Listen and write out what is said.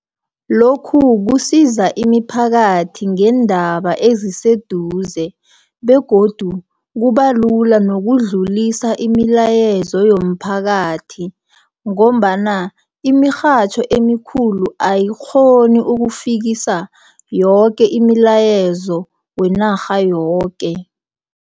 Lokhu kusiza imiphakathi ngeendaba eziseduze, begodu kubalula nokudlulisa imilayezo yomphakathi, ngombana imirhatjho emikhulu ayikghoni ukufikisa yoke imilayezo wenarha yoke.